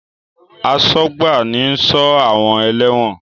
Asọ́gbà ni ń sọ́ àwọn ẹlẹ́wọ̀n